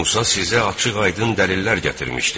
Musa sizə açıq-aydın dəlillər gətirmişdi.